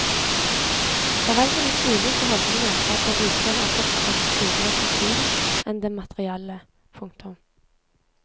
Foreldrenes ulike holdninger skrev seg likevel også fra andre sider av kulturen enn den materielle. punktum